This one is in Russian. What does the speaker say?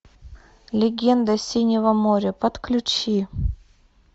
легенда синего моря подключи